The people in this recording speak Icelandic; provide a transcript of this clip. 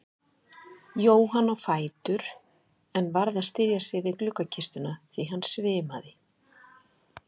Jóhann á fætur en varð að styðja sig við gluggakistuna því hann svimaði.